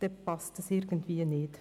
Das passt irgendwie nicht.